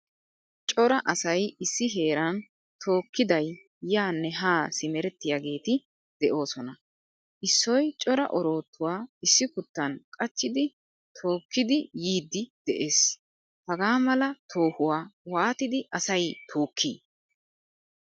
Cora asay issi heeran tookiday yaane ha simerettiyagetti deosona. Issoy cora orotuwaa issikuttan qachchidi tookkidi yiidi de'ees. Hagaa mala toohuwaa waattidi asay tookki?